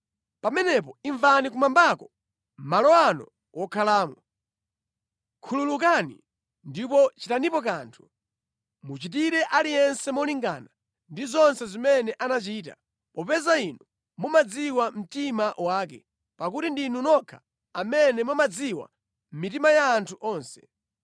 pamenepo imvani kumwambako, malo anu wokhalamo. Khululukani ndipo chitanipo kanthu. Muchitire aliyense molingana ndi zonse zimene anachita, popeza inu mumadziwa mtima wake (pakuti ndinu nokha amene mumadziwa mitima ya anthu onse),